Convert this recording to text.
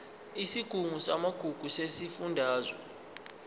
isigungu samagugu sesifundazwe